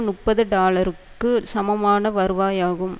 முப்பது டாலருக்கு சமமான வருவாயாகும்